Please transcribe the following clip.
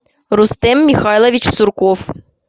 рустем михайлович сурков